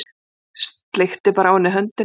Sleikti bara á henni höndina.